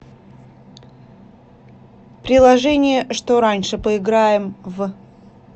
приложение что раньше поиграем в